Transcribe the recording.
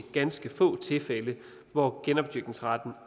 ganske få tilfælde hvor genopdyrkningsretten